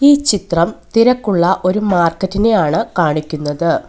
ഈ ചിത്രം തിരക്കുള്ള ഒരു മാർക്കറ്റിനെ ആണ് കാണിക്കുന്നത്.